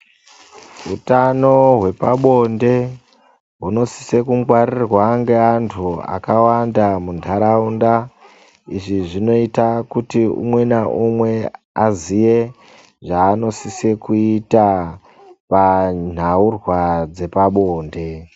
Hutano hwepabonde hunosise kungwarirwa ngeantu akawanda muntaraunda. Izvi zvinoita kuti umwe naumwe aziye zvaanosise kuita panhaurwa dzepabonde.